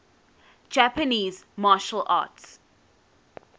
japanese martial arts